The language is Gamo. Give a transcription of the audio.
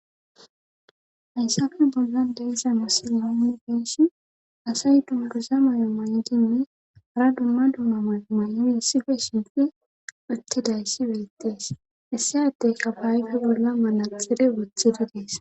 Hayssape bolla deiza misilani genshi asay dundusa mayo may dinni hara dumma dumma mayo may'o hissife sinfi ettidayssi weettees issa addey kapayfe bolla manaxire wothidi dees.